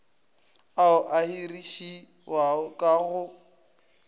ao a hirišiwang ka go